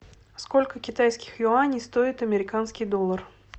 сколько китайских юаней стоит американский доллар